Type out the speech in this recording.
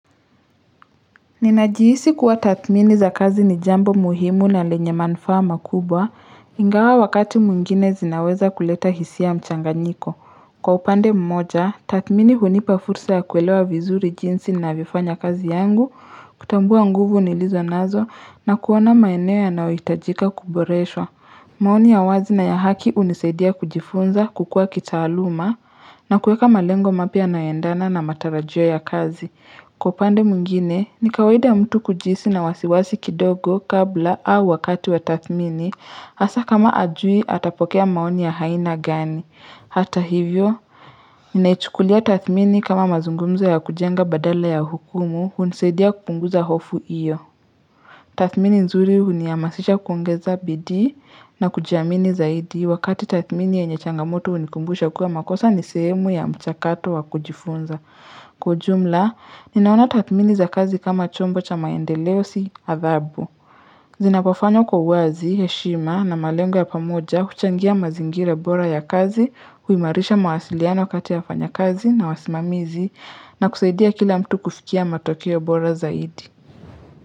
Ninajiisi kuwa tathmini za kazi ni jambo muhimu na lenye manufaa makubwa, ingawa wakati mwingine zinaweza kuleta hisia mchanganyiko. Kwa upande mmoja, tatmini hunipa fursa ya kuelewa vizuri jinsi navifanya kazi yangu, kutambua nguvu nilizo nazo na kuona maeneo yanayoitajika kuboresha. Maoni ya wazi na ya haki unisaidia kujifunza, kukua kitaaluma, na kueka malengo mapya nayaendana na matarajio ya kazi. Kwa upande mwingine, nikawaida mtu kujiisi na wasiwasi kidogo kabla au wakati wa tathmini, hasa kama ajui atapokea maoni ya aina gani. Hata hivyo, ninaichukulia tathmini kama mazungumzo ya kujenga badala ya hukumu, hunisaidia kupunguza hofu iyo. Tathmini nzuri huniamasisha kuongeza bidii na kujiamini zaidi wakati tathmini yenye changamoto hunikumbusha kuwa makosa ni sehemu ya mchakato wa kujifunza. Kwa ujumla, ninaona tatmini za kazi kama chombo cha maendeleo si adhabu. Zinapofanywa kwa uwazi, heshima na malengo ya pamoja huchangia mazingira bora ya kazi, huimarisha mawasiliano kati ya wafanyakazi na wasimamizi na kusaidia kila mtu kufikia matokeo bora zaidi.